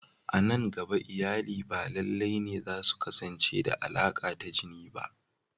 A nan gaba, iyali ba lalle ne za su kasance da alaka ta jini ba.